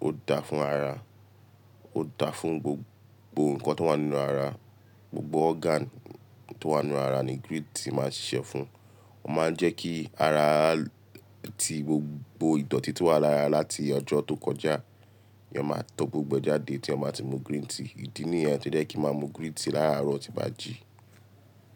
ó dáa fún ara, ó dáa fún gbogbo nǹkan tó wà nínú ara, gbogbo organ tó wà nínú ara ni green tea máa ń ṣíṣe fún. Ó máa ń jẹ́ kí ara tí gbogbo ìdọ̀ọ̀tí tí wà lára láti ọjọ́ tó kọjá, èèyàn máa tó gbogbo ẹ jáde tí ẹeyan máa ti mu green tea. Ìdí nìyẹn tó jẹ́ kí n máa mu green tea láraàrọ̀ tí n bá jī.